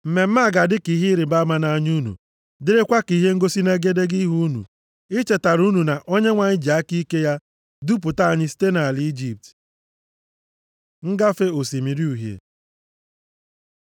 Mmemme a ga-adị ka ihe ịrịbama nʼanya unu, dịrịkwa ka ihe ngosi nʼegedege ihu unu, ichetara unu na Onyenwe anyị ji aka ike ya dupụta anyị site nʼala Ijipt.” Ngafe Osimiri Uhie